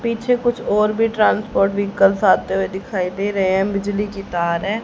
पीछे कुछ और भी ट्रांसपोर्ट व्हीकल आते हुए दिखाई दे रहे हैं बिजली की तार हैं।